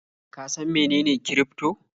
Ka san mene kirifto?